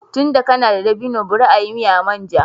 Tunda kana da dabino bari a yi miya manja